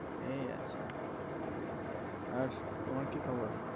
এই আছি আর তোমার কি খবর?